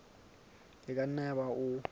e ka nna yaba o